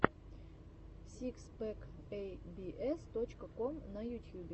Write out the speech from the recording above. сикс пэк эй би эс точка ком на ютьюбе